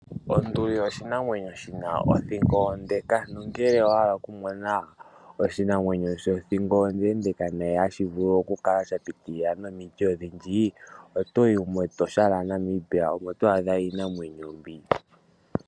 Onduli oshinamwenyo shina othingo ondeka, nongele owahala oku mona oshinamwenyo shothingo ondendeeka hashi vulu oku kala sha piitilila nomiti ondhindji otoyi mEtosha lyaNamibia omo to adha iinamwenyo mbi.